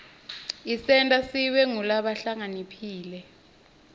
isenta sibe ngulabahlakaniphile